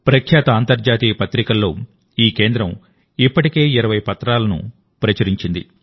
ప్రఖ్యాత అంతర్జాతీయ జర్నల్స్లో ఈ కేంద్రం ఇప్పటికే 20పత్రాలను ప్రచురించింది